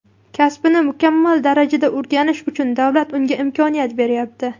kasbini mukammal darajada o‘rganishi uchun davlat unga imkoniyat beryapti.